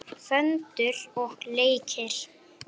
Föndur og leikir.